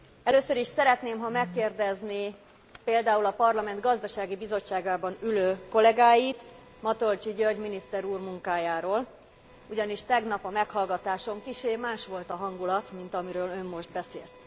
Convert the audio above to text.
Először is szeretném, ha megkérdezné például a Parlament gazdasági bizottságában ülő kollégáit Matolcsy György miniszter úr munkájáról, ugyanis tegnap a meghallgatáson kissé más volt a hangulat, mint amiről ön most beszélt.